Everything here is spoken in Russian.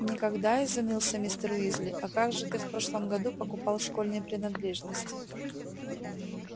никогда изумился мистер уизли а как же ты в прошлом году покупал школьные принадлежности